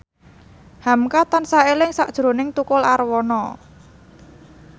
hamka tansah eling sakjroning Tukul Arwana